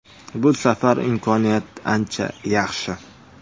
Bu safar imkoniyat ancha yaxshi.